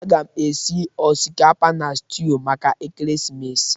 Aga m esi osikapa na stuụ maka ekeresimesi.